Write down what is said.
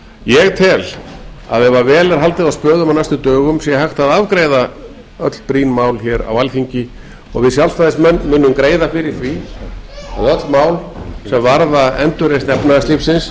ég tel að ef vel er haldið á spöðum á næstu dögum sé hægt að afgreiða öll brýn mál á alþingi og við sjálfstæðismenn munu greiða fyrir því og öll mál er varða endurreisn efnahagslífsins